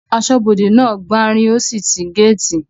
Asọ́bodè náà gbanrí ó sì sí gáàtì